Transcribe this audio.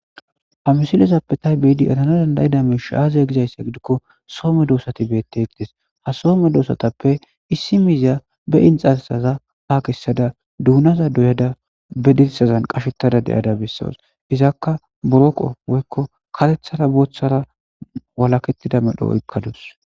Ha misilezappe ta beada eranas danddayiday soo medoosati beteetes ha soo medoosatape issi miiza daare be inxxarssa kare kessada be dirssaza bolla eqqada dawus.